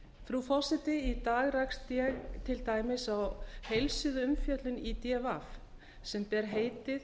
frú forseti í dag rakst ég til dæmis á heilsíðuumfjöllun í d v sem ber heitið